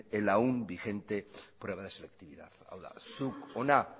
aún vigente prueba de selectividad hau da zuk hona